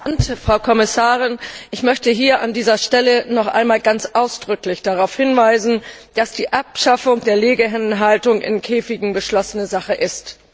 Herr Präsident, Frau Kommissarin! Ich möchte an dieser Stelle noch einmal ganz ausdrücklich darauf hinweisen, dass die Abschaffung der Legehennenhaltung in Käfigen beschlossene Sache ist.